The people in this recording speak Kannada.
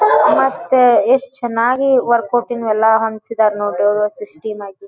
ಮತ್ತೆ ಎಷ್ಟ ಚನ್ನಾಗಿ ವರ್ಕ್ ಔಟಿಂಗ್ ಎಲ್ಲಾ ಅಂಟಿಸಿದ್ರ್ ನೋಡ್ರಿ ಎಷ್ಟ ಸಿಸ್ಟಮ್ ಆಗಿ.